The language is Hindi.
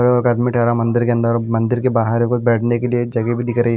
एक आदमी ठहरा मंदिर के अंदर मंदिर के बाहर कोई बैठने के लिए जगह भी दिख रही--